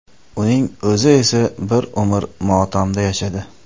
Uning o‘zi esa bir umr motamda yashadi.